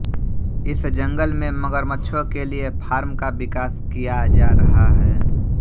इस जंगल में मगरमच्छों के लिए फॉर्म का विकास किया जा रहा है